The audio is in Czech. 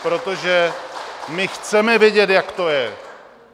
Protože my chceme vědět, jak to je!